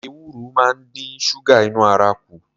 Ewuro máa ń dín ṣúgà inú ara kù